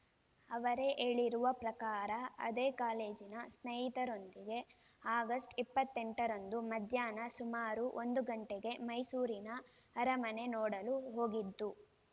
ಅವರೇ ಹೇಳಿರುವ ಪ್ರಕಾರ ಅದೇ ಕಾಲೇಜಿನ ಸ್ನೇಹಿತರೊಂದಿಗೆ ಆಗಸ್ಟ್ ಇಪ್ಪತ್ತೆಂಟರಂದು ಮಧ್ಯಾಹ್ನ ಸುಮಾರು ಒಂದು ಗಂಟೆಗೆ ಮೈಸೂರಿನ ಅರಮನೆ ನೋಡಲು ಹೋಗಿದ್ದು